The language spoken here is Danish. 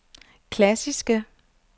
klassiske